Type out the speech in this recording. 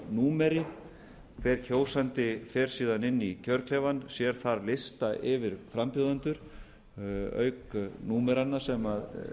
númeri hver kjósandi fer síðan inn í kjörklefann sér þar lista yfir frambjóðendur auk númeranna sem